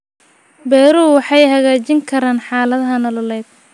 Beeruhu waxay hagaajin karaan xaaladaha nololeed.